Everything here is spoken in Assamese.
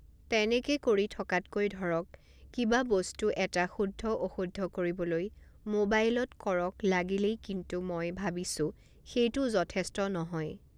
তেনেকে কৰি থকাতকৈ ধৰক কিবা বস্তু এটা শুদ্ধ অশুদ্ধ কৰিবলৈ মোবাইলত কৰক লাগিলেই কিন্তু মই ভাবিছোঁ সেইটো যথেষ্ট নহয়